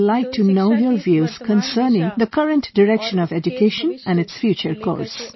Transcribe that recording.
So I would like to know your views concerning the current direction of education and its future course